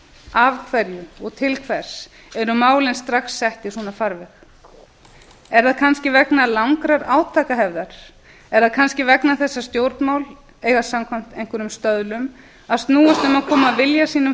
af hverju og til hvers eru málin strax sett í svona farveg er það kannski vegna svona langrar ábyrgðar átakahefðar er það kannski vegna þess að stjórnmál eiga samkvæmt einhverjum stöðlum að snúa sér að því að koma vilja sínum